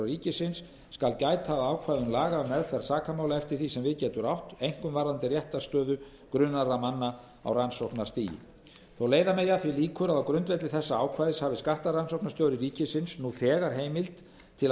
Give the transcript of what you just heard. ríkisins skal gæta að ákvæðum laga um meðferð sakamála eftir því sem við getur átt einkum varðandi réttarstöðu grunaðra manna á rannsóknarstigi þótt leiða megi að því líkur að á grundvelli þessa ákvæðis hafi skattrannsóknarstjóri ríkisins nú þegar heimild til að